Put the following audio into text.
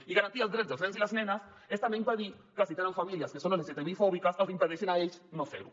i garantir els drets dels nens i les nenes és també impedir que si tenen famílies que són lgtbi fòbiques els impedeixin a ells no fer ho